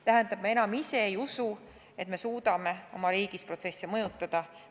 Tähendab, me enam ise ei usu, et me suudame oma riigis protsesse mõjutada.